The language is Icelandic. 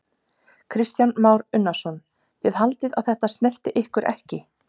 Kristján Már Unnarsson: Þið haldið að þetta snerti ykkur ekki?